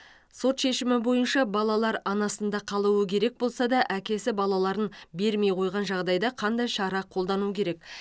сот шешімі бойынша балалар анасында қалуы керек болса да әкесі балаларын бермей қойған жағдайда қандай шара қолдану керек